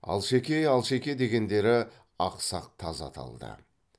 алшеке алшеке дегендері ақсақ таз аталды